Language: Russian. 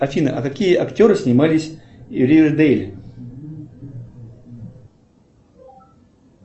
афина а какие актеры снимались в ривердейле